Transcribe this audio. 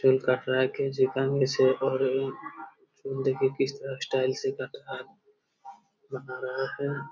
काट रहा है कैंची कंघी से और देखिए किस तरह स्टाइल से काट रहा है बना रहा है।